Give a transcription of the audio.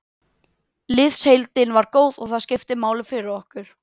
Liðsheildin var góð og það skiptir máli fyrir okkur.